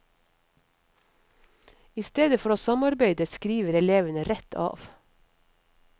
I stedet for å samarbeide, skriver elevene rett av.